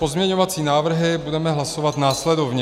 Pozměňovací návrhy budeme hlasovat následovně: